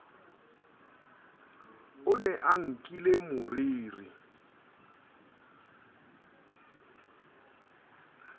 o ne a nkile moriri